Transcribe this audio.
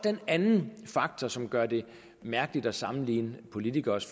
en anden faktor som gør det mærkeligt at sammenligne politikeres